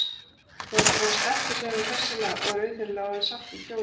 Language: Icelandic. Þú heldur að hann sleppi, segir hún hressilega og er auðheyrilega orðin sátt við kjólinn.